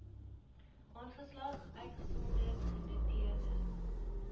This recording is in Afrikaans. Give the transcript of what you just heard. aanslag uitgesonderd genoteerde